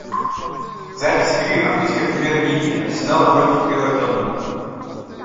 запись игры английской премьер лиги арсенала против эвертона